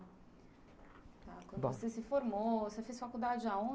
Bom.uando você se formou, você fez faculdade aonde?